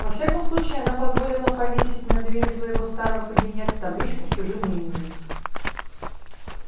во всяком случае она позволила повесить на двери своего старого кабинета табличку с чужим именем